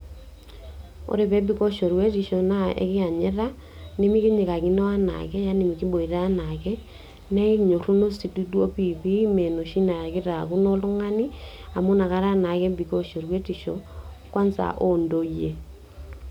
Oee peebiko shorwetisho naa ekianyita, nemekinyikakino enaake, yani mekiboita enaake naa ekinyoruno si duo piipiii me enoshi na keitaakuno oltungani amu nakata naake ebikoo shorwetisho, kwanza oo ntoyie.